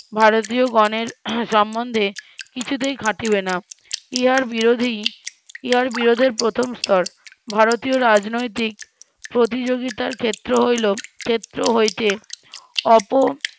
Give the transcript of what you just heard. ভারতীয়গণের সম্বন্ধে কিছুতেই খাটিবে না ইহার বিরোধী ইহার বিরোধের প্রথম স্তর ভারতীয় রাজনৈতিক প্রতিযোগিতার ক্ষেত্র হইল ক্ষেত্র হইতে অপ